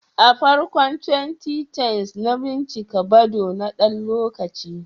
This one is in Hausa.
A farkon 2010s, na bincika Badoo na ɗan lokaci.